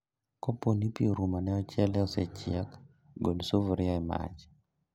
Kaponi pii orumo to ochele osechiek, gol sufria e mach